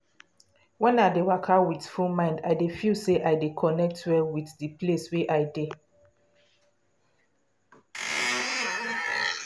when i dey waka with full mind i dey feel say i dey connect well with de place wey i dey.